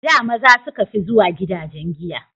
A da maza suka fi zuwa gidajen giya